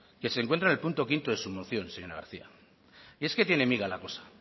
que se encuentra en el punto quinto de su moción señora garcía y es que tiene miga la cosa